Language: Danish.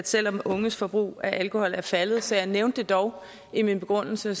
selv om unges forbrug af alkohol er faldet så jeg nævnte det dog i min begrundelse